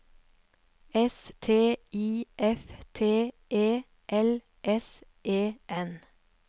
S T I F T E L S E N